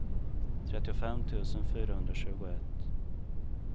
trettiofem tusen fyrahundratjugoett